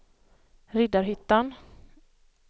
Riddarhyttan